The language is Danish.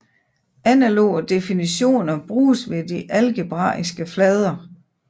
Analoge definitioner bruges ved de algebraiske flader